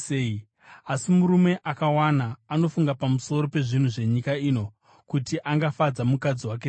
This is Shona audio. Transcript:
Asi murume akawana anofunga pamusoro pezvinhu zvenyika ino, kuti angafadza mukadzi wake sei,